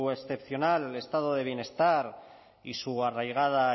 excepcional estado de bienestar y su arraigada